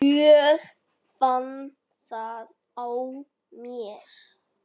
Ég fann það á mér.